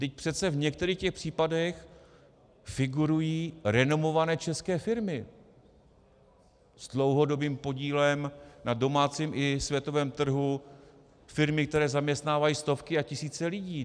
Vždyť přece v některých těch případech figurují renomované české firmy s dlouhodobým podílem na domácím i světovém trhu, firmy, které zaměstnávají stovky a tisíce lidí.